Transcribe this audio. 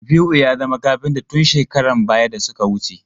Shafi'u ya zama kafinta tun shekaran baya da suka wuce.